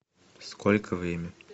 сколько время